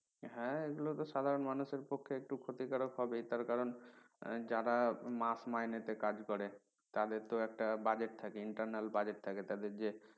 হ্যাঁ এগুলো তো সাধারণ মানুষদের কপালে একটু ক্ষতিকারক হবে তার কারন যারা মাস মাইনেতে কাজ করে তাদের তো একটা budget থাকে internal budget থাকে তাদের যে